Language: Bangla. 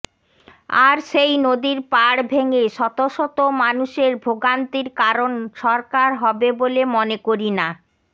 আর সেই নদীর পাড় ভেঙে শতশত মানুষের ভোগান্তির কারণ সরকার হবে বলে মনে করি না